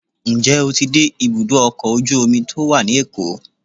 njẹ o tí dé ibudọ ọkọ ojú omí to wa ní Èko?